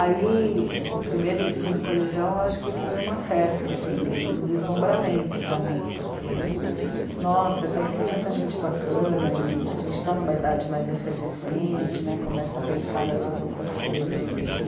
Aí, primeiro e segundo colegial, acho que foi uma festa, assim, um deslumbramento para mim, porque, nossa, conheci tanta gente bacana, e a gente está em uma idade mais efervescente, né, começa a pensar nessas outras coisas mesmo.